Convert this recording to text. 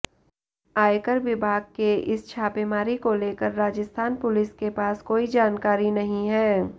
आयकर विभाग के इस छापेमारी को लेकर राजस्थान पुलिस के पास कोई जानकारी नहीं है